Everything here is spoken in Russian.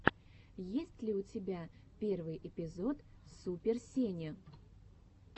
есть ли у тебя первый эпизод супер сени